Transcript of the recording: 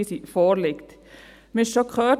Wir haben es bereits gehört: